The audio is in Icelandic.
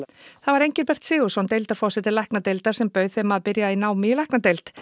það var Engilbert Sigurðsson deildarforseti læknadeildar sem bauð þeim að byrja í námi í læknadeild